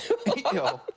já